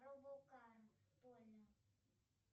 робокар полли